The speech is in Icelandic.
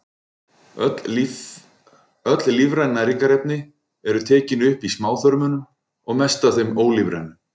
Öll lífræn næringarefni eru tekin upp í smáþörmunum og mest af þeim ólífrænu.